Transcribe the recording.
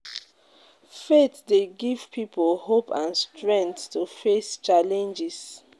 faith dey give people hope and strength to face challenges.